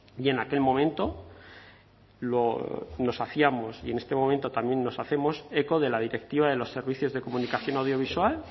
y en aquel momento nos hacíamos y en este momento también nos hacemos eco de la directiva de los servicios de comunicación audiovisual